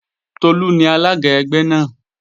Tolú ni alága ẹgbẹ́ náà